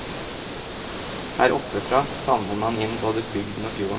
Her oppe fra favner man inn både bygden og fjorden.